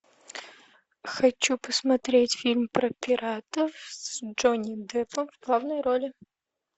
хочу посмотреть фильм про пиратов с джонни деппом в главной роли